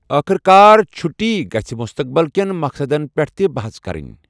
أخر کار چٹھۍ گژھہِ مُستقبٕل کٮ۪ن مقصدَن پٮ۪ٹھ تہِ بَحَژ کَرٕنۍ۔